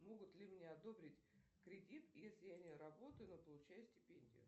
могут ли мне одобрить кредит если я не работаю но получаю стипендию